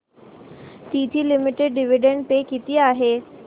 TT limited dividend pay किती आहे